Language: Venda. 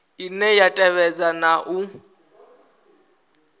ine ya tevhedza na u